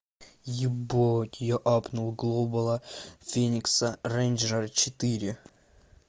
ебать я апнул глобала феникса рейнджера четыре